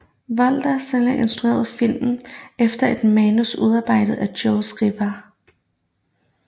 Walter Salles instruerede filmen efter et manus udarbejdet af Jose Rivera